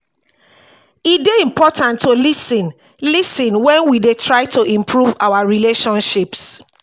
e dey important to lis ten lis ten wen we dey try to improve our relationships.